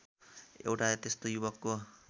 एउटा त्यस्तो युवकको